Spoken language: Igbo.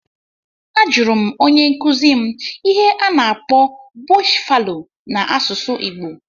A jụrụ m onye nkuzi m ihe a na-akpọ "bush fallow" n'asụsụ igbo